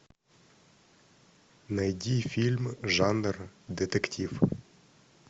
найди фильм жанр детектив